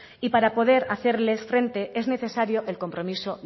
y para poder hacerles frente es necesario el compromiso